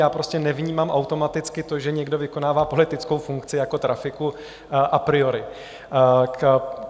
Já prostě nevnímám automaticky to, že někdo vykonává politickou funkci jako trafiku, a priori.